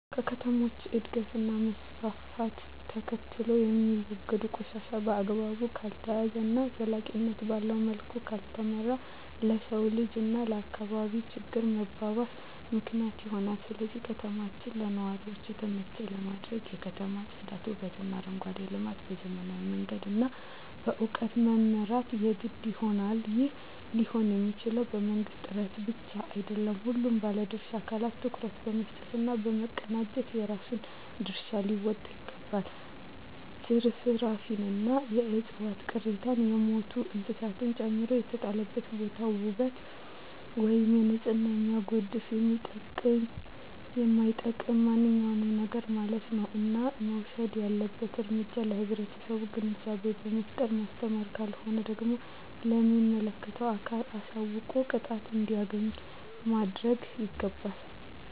ከከተሞች እድገት እና መስፍፍት ተከትሎየሚወገዱ ቆሻሻ በአግባቡ ካልተያዘ እና ዘላቂነት ባለዉ መልኩ ካልተመራ ለሰዉ ልጅ እና ለአካባቢ ችግር መባባስ ምክንያት ይሆናል ስለዚህ ከተማችን ለነዋሪዎች የተመቸ ለማድረግ የከተማ ፅዳት ዉበትእና አረንጓዴ ልማት በዘመናዊ መንገድ እና በእዉቀት መምራት የግድ ይሆናል ይህም ሊሆንየሚችለዉ በመንግስት ጥረት ብቻ አይደለም ሁሉም ባለድርሻ አካላት ትኩረት በመስጠት እና በመቀናጀት የራሱን ድርሻ ሊወጣ ይገባል ትርፍራፊንእና የዕፅዋት ቅሪትን የሞቱ እንስሳትን ጨምሮ የተጣለበትን ቦታ ዉበት ወይም ንፅህናን የሚያጎድፍ የሚጠቅምም የማይጠቅምም ማንኛዉም ነገርማለት ነዉ እና መወሰድ ያለበት እርምጃ ለህብረተሰቡ ግንዛቤ በመፍጠር ማስተማር ካልሆነ ደግሞ ለሚመለከተዉ አካል አሳዉቆ ቅጣቱን እንዲያገኝ ማድረግይገባል